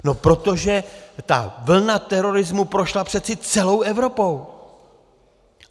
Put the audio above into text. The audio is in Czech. No protože ta vlna terorismu prošla přece celou Evropou.